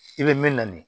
I bɛ min na nin